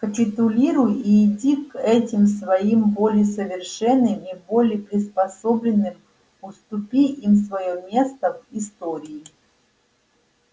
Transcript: капитулируй и иди к этим своим более совершенным и более приспособленным уступи им своё место в истории